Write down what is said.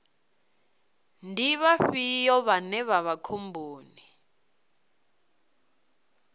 ndi vhafhio vhane vha vha khomboni